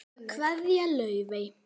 Kveðja, Laufey.